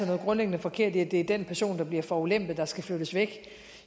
noget grundlæggende forkert i at det er den person der bliver forulempet der skal flyttes væk